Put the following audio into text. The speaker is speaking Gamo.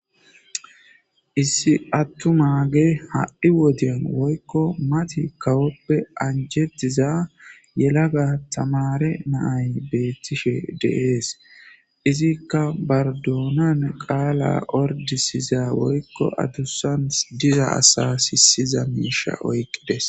issi attu maage ha7i wodyan woykko mati kawoppe anjetiza yelaga tamare naay beettishe deees izikka bardoonan qaala ordisiza woykko adussan diza asa sisiza miisha oyqqides